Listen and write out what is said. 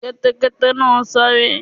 Kẹ́tẹ́kẹ́tẹ́ náà sáré.